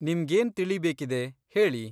ನಿಮ್ಗೇನ್ ತಿಳಿಬೇಕಿದೆ, ಹೇಳಿ?